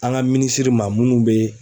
An ka minisiri maa munnu bee